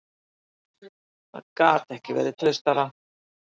Það gat ekki verið traustara.